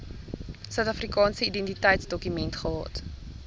suidafrikaanse identiteitsdokument gehad